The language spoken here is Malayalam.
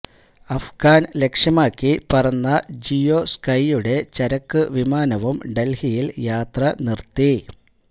അഫ്ഗാന് ലക്ഷ്യമാക്കി പറന്ന ജിയോ സ്കൈയുടെ ചരക്കു വിമാനവും ഡല്ഹിയില് യാത്ര നിര്ത്തി